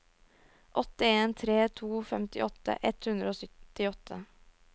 åtte en tre to femtiåtte ett hundre og syttiåtte